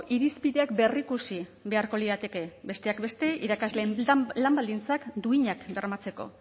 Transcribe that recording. irizpideak berrikusi beharko lirateke besteak beste irakasleen lan baldintzak duinak bermatzeko